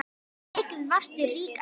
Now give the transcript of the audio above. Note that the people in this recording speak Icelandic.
Mikið varstu rík amma.